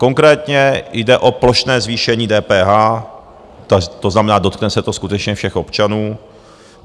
Konkrétně jde o plošné zvýšení DPH, to znamená, dotkne se to skutečně všech občanů.